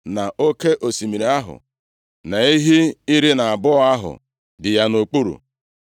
na Oke osimiri ahụ na ehi iri na abụọ ahụ dị ya nʼokpuru,